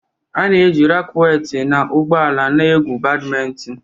A na-eji rakweti na ụgbọ ala na-egwu Badimintin.